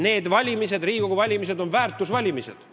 Need valimised, Riigikogu valimised, on väärtuste valimised.